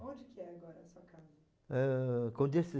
Onde que é agora a sua casa? Ãh...